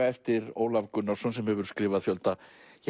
eftir Ólaf Gunnarsson sem hefur skrifað fjölda